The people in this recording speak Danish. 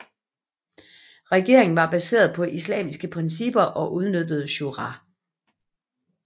Regeringen var baseret på islamiske principper og udnyttede shura